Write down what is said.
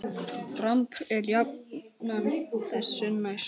Dramb er jafnan þessu næst.